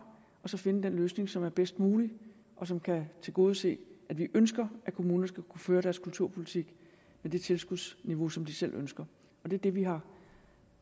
og så finde den løsning som er bedst mulig og som kan tilgodese at vi ønsker at kommunerne skal kunne føre deres kulturpolitik med det tilskudsniveau som de selv ønsker det er det vi har